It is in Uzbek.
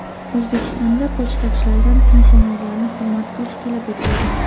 O‘zbekistonda pochtachilardan pensionerlarni hurmat qilish talab etildi.